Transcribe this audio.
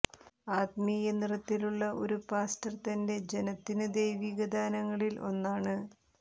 ആത്മീയ നിറത്തിലുള്ള ഒരു പാസ്റ്റർ തൻറെ ജനത്തിന് ദൈവിക ദാനങ്ങളിൽ ഒന്നാണ്